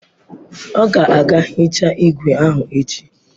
Ọ ga-aga hichaa igwe ahụ echi.